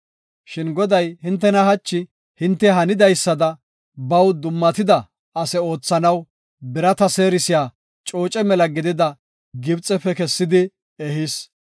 Shin Goday hintena hachi hinte hanidaysada baw dummatida ase oothanaw birata seerisiya cooce mela gidida Gibxefe kessidi ehis.